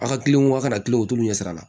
A ka kilen wa kana kilen o t'u ɲɛ sira la